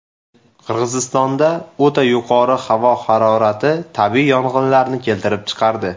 Qirg‘izistonda o‘ta yuqori havo harorati tabiiy yong‘inlarni keltirib chiqardi.